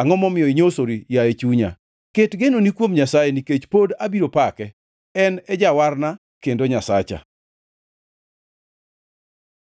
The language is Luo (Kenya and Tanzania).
Angʼo momiyo inyosori, yaye chunya? Ket genoni kuom Nyasaye, nikech pod abiro pake, en e Jawarna kendo Nyasacha.